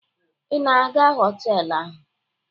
Ị na-aga họtelụ ahụ?